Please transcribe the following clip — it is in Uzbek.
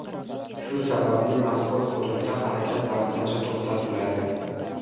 Shu sababli mazkur hududda harakat vaqtincha to‘xtatiladi.